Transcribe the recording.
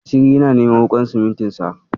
Asiri yana neman wuƙar simintin sa.